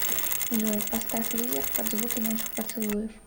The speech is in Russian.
джой поставь лизер под звуки наших поцелуев